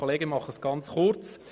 Ich mache es ganz kurz.